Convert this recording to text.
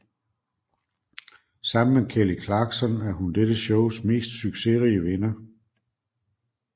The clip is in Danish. Sammen med Kelly Clarkson er hun dette shows mest succesrige vinder